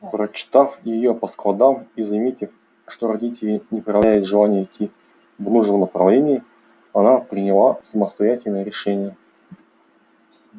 прочитав её по складам и заметив что родители не проявляют желания идти в нужном направлении она приняла самостоятельное решение